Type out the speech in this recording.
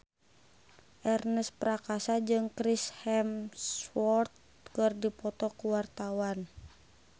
Ernest Prakasa jeung Chris Hemsworth keur dipoto ku wartawan